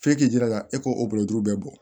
F'e k'i jilaja e k'o o bolo bɛɛ bɔ